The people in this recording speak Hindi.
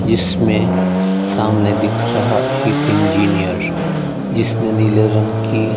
जिसमें सामने दिख रहा एक इंजीनियर जिसने नीले रंग की--